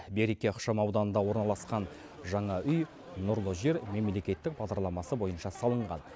береке ықшамауданында орналасқан жаңа үй нұрлы жер мемлкеттік бағдарламасы бойынша салынған